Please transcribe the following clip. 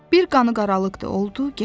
Bir qanıqaralıq da oldu, getdi.